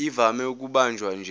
ivame ukubanjwa nje